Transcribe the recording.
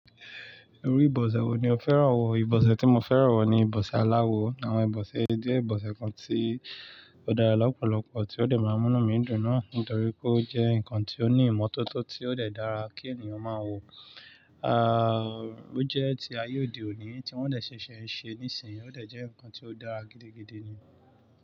Orí ìbọ̀sẹ̀ wo ni o fẹ́ràn wò? Ìbọ̀sẹ̀ tí mo fẹ́ràn wò ni ìbọ̀sẹ̀ aláwo. Àwọn ìbọ̀sẹ̀ jẹ́ ìbọ̀sẹ̀ kan tí ó dára lọ́pọ̀lọpọ̀ tí ó dẹ̀ máa múni mi dùn náà nítorí pé ó jẹ́ ǹkan tí ó ní ìmọ́tótó tí ó dẹ̀ dára kí ènìyàn máa wò. À, ó jẹ́ ti ayé òde òní tí wọ́n dẹ̀ ṣẹ̀ṣẹ̀ ń ṣe níìsín, ó dẹ̀ jẹ́ ǹkan tí ó dára gidigidi ni.